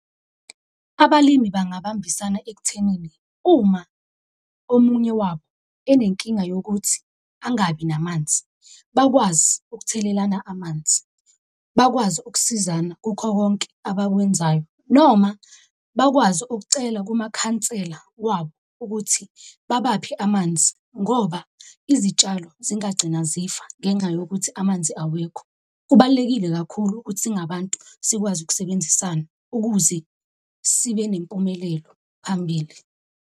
Abalimi bangabambisana ekuthenini uma omunye wabo enenkinga yokuthi angabi namanzi, bakwazi ukuthelelana amanzi, bakwazi ukusizana kukho konke abakwenzayo noma bakwazi ukucela kumakhansela wabo ukuthi babaphe amanzi ngoba izitshalo zingagcina zifa ngenxa yokuthi amanzi awekho. Kubalulekile kakhulu ukuthi singabantu sikwazi ukusebenzisana ukuze sibe nempumelelo phambili.